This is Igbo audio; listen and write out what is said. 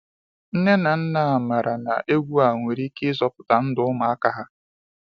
Nne na nna mara na egwú a nwere ike ịzọpụta ndụ ụmụaka ha.